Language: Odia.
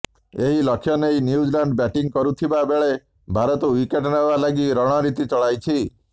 ଏହି ଲକ୍ଷ୍ୟ ନେଇ ନ୍ୟୁଜିଲାଣ୍ଡ ବ୍ୟାଟିଂ କରୁଥିବା ବେଳେ ଭାରତ ୱିକେଟ୍ ନେବା ଲାଗି ରଣନୀତି ଚଳାଇଛି